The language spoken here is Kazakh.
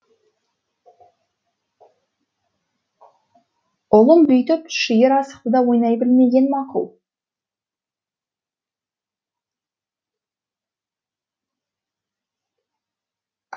ұлым бүйтіп шиыр асықты да ойнай білмеген мақұл